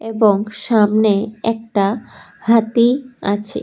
এবং সামনে একটা হাতি আছে।